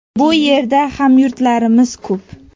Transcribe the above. Bu yerda hamyurtlarimiz ko‘p.